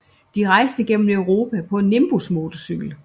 De rejste gennem Europa på en Nimbus motorcykel